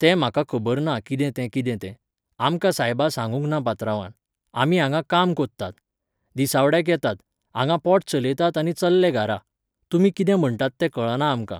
तें म्हाका खबर ना कितें तें कितें तें. आमकां सायबा सांगूंक ना पात्रांवान. आमी हांगा काम कोरतात. दिसवाड्याक येतात. हांगा पोट चलयतात आनी चल्ले घारा. तुमी कितें म्हणटात तें कळना आमकां.